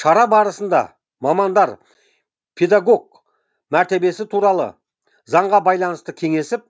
шара барысында мамандар педагог мәртебесі туралы заңға байланысты кеңесіп